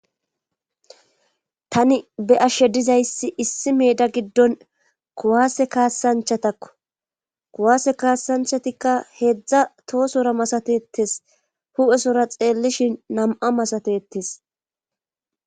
tani be7ashshe dizayssi issi meeda giddon kuwaase kaasanchatakko kuwaase kaassanchatikka heedzdza toosora masatettes hu7esora xeellishin nam7a masatetes